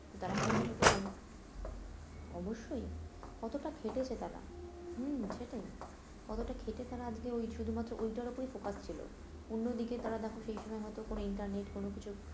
তারা কিন্তু সেটার উপর কন অবশ্যই কতটা খেটেছে তারা হম সেটাই কতোটা খেটে তারা ওই শুধু মাত্র ওইটার উপরেই focus ছিল, অন্য দিকে তারা দেখো সেই সময় হয়তো কোনো ইন্টারনেট কোনো কিছু